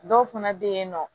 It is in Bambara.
Dɔw fana bɛ yen nɔ